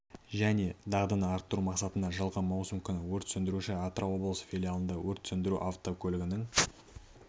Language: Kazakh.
және дағдыны арттыру мақсатында жылғы маусым күні өрт сөндіруші атырау облысы филиалында өрт сөндіру автокөлігінің